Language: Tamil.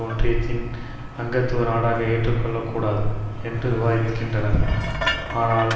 ஒன்றியத்தின் அங்கத்துவ நாடாக ஏற்றுக்கொள்ளக்கூடாது என்று விவாதிக்கின்றனர் ஆனால்